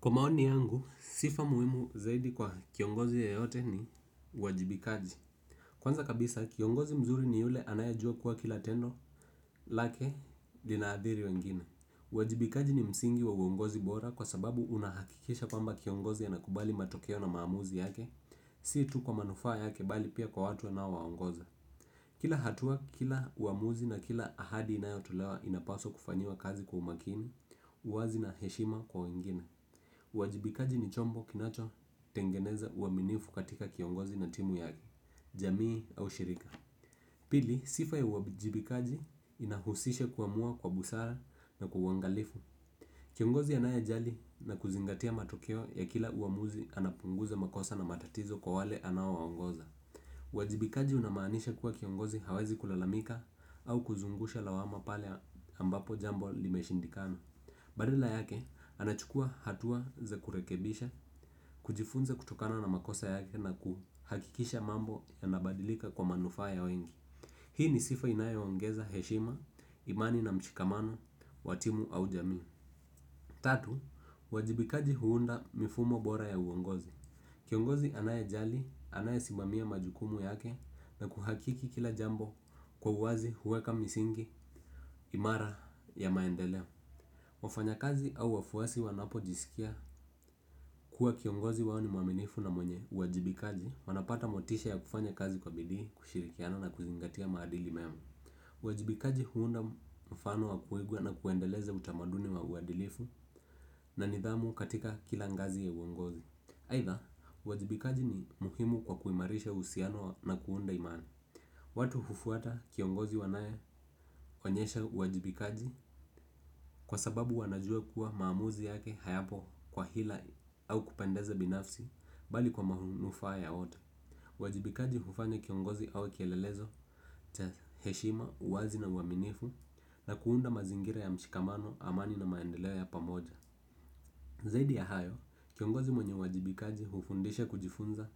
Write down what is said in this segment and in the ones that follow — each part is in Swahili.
Kwa maoni yangu, sifa muhimu zaidi kwa kiongozi ya yote ni wajibikaji. Kwanza kabisa, kiongozi mzuri ni yule anayajua kuwa kila tendo, lake linaadhiri wengine. Wajibikaji ni msingi wa uongozi bora kwa sababu unahakikisha kwamba kiongozi a nakubali matokeo na maamuzi yake. Si tu kwa manufaa yake bali pia kwa watu ana waongoza. Kila hatua, kila uamuzi na kila ahadi inayotolewa inapaswa kufanyiwa kazi kwa umakini, uwazi na heshima kwa wengine. Wajibikaji ni chombo kinacho tengeneza uwaminifu katika kiongozi na timu ya jamii au shirika. Pili, sifa ya wajibikaji inahusisha kuamua kwa busara na kuwangalifu. Kiongozi anae jali na kuzingatia matokeo ya kila uamuzi anapunguza makosa na matatizo kwa wale anawaongoza. Wajibikaji unamaanisha kuwa kiongozi hawezi kulalamika au kuzungusha lawama pale ambapo jambo limeshindikana. Badala yake anachukua hatua za kurekebisha kujifunza kutokana na makosa yake na kuhakikisha mambo ya nabadilika kwa manufaa ya wengi. Hii ni sifa inayo ongeza heshima, imani na mshikamano, wa timu au jamii. Tatu, wajibikaji huunda mifumo bora ya uongozi. Kiongozi anaye jali, anaye simamia majukumu yake na kuhakiki kila jambo kwa uwazi huweka misingi imara ya maendeleo. Wafanya kazi au wafuasi wanapo jisikia kuwa kiongozi wao ni mwaminifu na mwenye uajibikaji wanapata motisha ya kufanya kazi kwa bidii kushirikiana na kuzingatia maadili mema. Uwajibikaji huunda mfano wa kuiga na kuendeleza utamaduni wa uadilifu na nidhamu katika kilangazi ya uungozi. Haidha, uwajibikaji ni muhimu kwa kuimarisha usiano na kuunda imani. Watu hufuata kiongozi wanae onyesha wajibikaji kwa sababu wanajua kuwa maamuzi yake hayapo kwa hila au kupendeza binafsi bali kwa mahunufaa ya wote. Wajibikaji hufanya kiongozi au kielelezo, heshima, uwazi na uaminifu na kuunda mazingira ya mshikamano amani na maendeleo ya pamoja. Zaidi ya hayo, kiongozi mwenye wajibikaji hufundisha kujifunza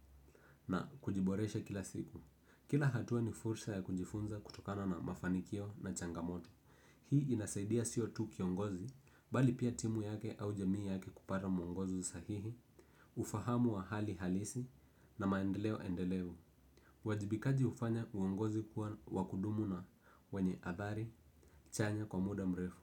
na kujiboresha kila siku. Kila hatua ni fursa ya kujifunza kutokana na mafanikio na changamoto. Hii inasaidia siyo tu kiongozi bali pia timu yake au jamii yake kupata muongozo sahihi. Ufahamu wa hali halisi na maendeleo endelevu wajibikaji ufanya uongozi kuwa wakudumu na wenye adhari chanya kwa muda mrefu.